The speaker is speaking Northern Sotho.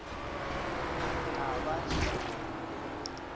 ka ba hlompho le go